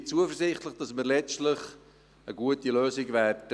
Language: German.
Ich bin zuversichtlich, dass wir letztlich eine gute Lösung finden werden.